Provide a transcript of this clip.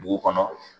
Dugu kɔnɔ